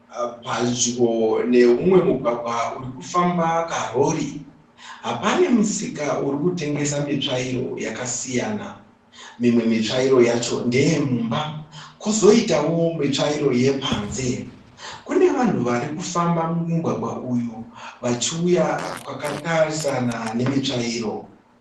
Padyo nemumwe mugwagwa uri kufamba karori pane musika uri kutengesa mitsvairo yakasiyana. Mimwe mitsvairo yacho ndeye mumba kwozoitawo mitsvairo yepanze. Kune vanhu vari kufamba mumugwagwa uyu vachiuya kwakatarisana nemitsvairo.